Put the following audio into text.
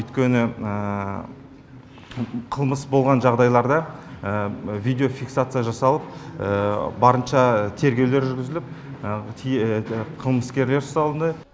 өйткені қылмыс болған жағдайларда видеофиксация жасалып барынша тергеулер жүргізіліп қылмыскерлер ұсталынды